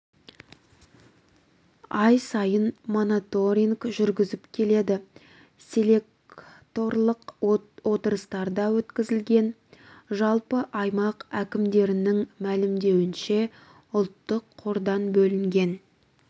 ай сайын мониторинг жүргізіп келеді селекторлық отырыстар өткізіледі жалпы аймақ әкімдіктерінің мәлімдеуінше ұлттық қордан бөлінген